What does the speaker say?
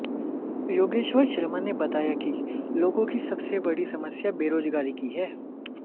योगेश्वर शर्मा ने बताया कि लोगों की सबसे बड़ी समस्या बेराजगारी की है